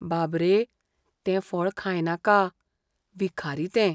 बाब रे, तें फळ खायनाका. विखारी तें.